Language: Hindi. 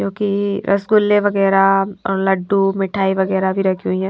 जोकि रसगुल्ले वगैरा लड्डू मिठाई वगैरा भी रखी हुई है।